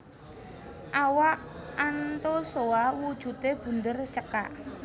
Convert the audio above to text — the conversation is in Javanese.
Awak Anthozoa wujudé bunder cekak